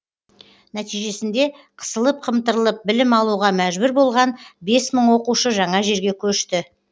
нәтижесінде қысылып қымтырылып білім алуға мәжбүр болған бес мың оқушы жаңа жерге көшті